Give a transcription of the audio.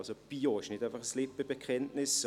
Bio ist also nicht einfach ein Lippenbekenntnis.